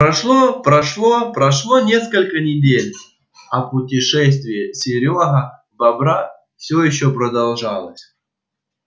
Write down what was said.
прошло прошло прошло несколько месяцев а путешествие серёга бобра всё ещё продолжалось